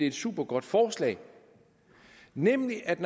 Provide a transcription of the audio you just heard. et supergodt forslag nemlig at